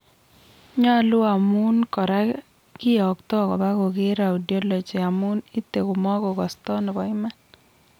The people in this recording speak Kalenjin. Nylu amun kora kiyokto kopa koger audiology amun ite koma kogosto nepo iman.